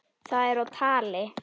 Það er á tali.